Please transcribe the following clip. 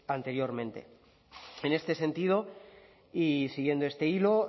anteriormente en este sentido y siguiendo este hilo